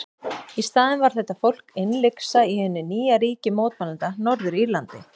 Í staðinn var þetta fólk innlyksa í hinu nýja ríki mótmælenda, Norður-Írlandi.